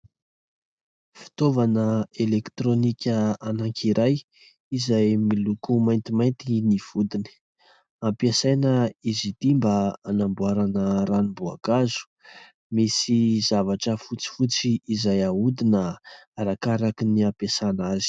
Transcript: Fitaovana elektrônika anankiray izay miloko maintimainty ny vodiny. Ampiasaina izy ity mba hanamboarana ranom-boankazo. Misy zavatra fotsifotsy izay ahodina arakaraky ny hampiasana azy.